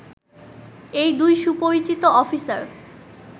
এই দুই সুপরিচিতি অফিসার